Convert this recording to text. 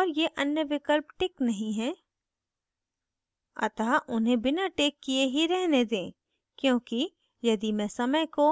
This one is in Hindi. और ये अन्य विकल्प टिक नहीं हैं अतः उन्हें बिना टिक किये ही रहने दें क्योंकि यदि मैं समय को